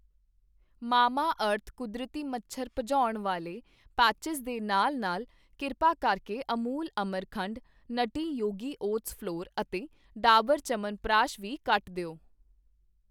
ਮਮਾਅਰਥ ਕੁਦਰਤੀ ਮੱਛਰ ਭਜਾਉਣ ਵਾਲੇ ਪੈਟਿਸ਼ ਦੇ ਨਾਲ ਨਾਲ ਕਿਰਪਾ ਕਰਕੇ ਅਮੂਲ ਅਮਰਖੰਡ, ਨੂਟਟੀ ਯੋਗੀ ਓਟਸ ਫ਼ਲੌਰ ਅਤੇ ਡਾਬਰ ਚਯਵਨਪ੍ਰਕਾਸ਼ ਵੀ ਕੱਟ ਦਿਓ